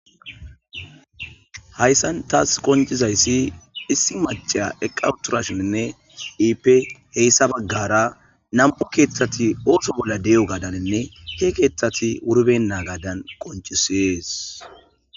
Haysan tas qonc'izaysi issi mac'iya eqa utirashininne ippe heysa bagara nam'u kethati oso bola de'iyogadanne he kethati wuribenagadan qonc'isizaysi.